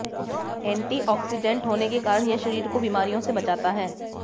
antioxidant होने के कारण यह शरीर को बीमारियों से बचाता है